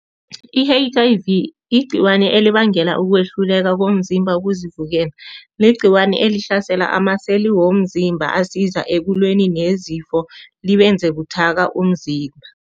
I-H_I_V igcikwani elibangela ukuhluleka komzimba ukuzivikela. Ligcikwane elihlasela amaseli womzimba, asiza ekulweni nezifo, liwenze buthaka umzimba.